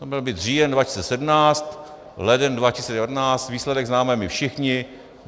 To měl být říjen 2017, leden 2019 - výsledek známe my všichni.